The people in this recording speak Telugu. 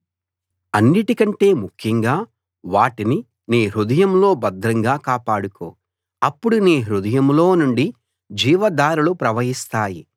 అన్నిటికంటే ముఖ్యంగా వాటిని నీ హృదయంలో భద్రంగా కాపాడుకో అప్పుడు నీ హృదయంలో నుండి జీవధారలు ప్రవహిస్తాయి